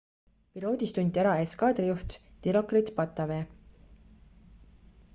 piloodis tunti ära eskaadrijuht dilokrit pattavee